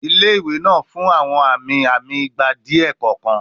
Ile-iwe naa fun awọn ami-ami igba diẹ kọọkan